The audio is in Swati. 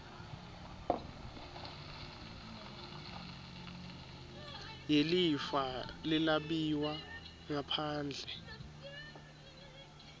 yelifa lelabiwa ngaphandle